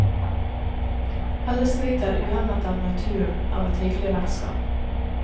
Alle skryter uhemmet av naturen, av et hyggelig vertskap.